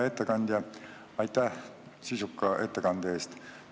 Hea ettekandja, aitäh sisuka ettekande eest!